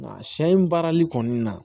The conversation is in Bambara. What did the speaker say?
Nka sɛ in baarali kɔni na